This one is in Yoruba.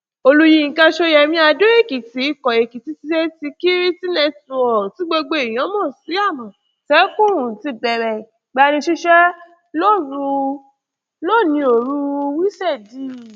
olúyinka ṣóyẹmí adó èkìtì ikọ èkìtì state security network tí gbogbo èèyàn mọ sí àmọtẹkùn ti bẹrẹ ìgbanisíṣẹ lónìí ooru wíṣèdèe